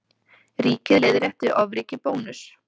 Ríkið leiðrétti ofríki Bónuss